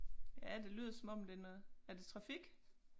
Ja det lyder som om det noget er det trafik?